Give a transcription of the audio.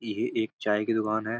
ये एक चाय की दुकान है।